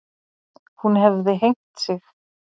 Hún hefði hengt sig.